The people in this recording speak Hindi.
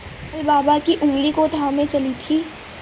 कल बाबा की ऊँगली को थामे चली थी